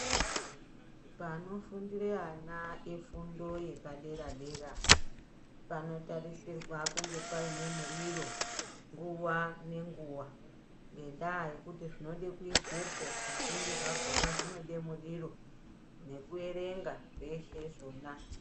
Panofundire ana efundo yepadera dera panotarisirwa kunge paine muriro nguwa ngenguwa ngendaa yekuti zvinode kuizwepo zvizhinji zvakhona zvinode muriro nekuerenga zveshe zvona.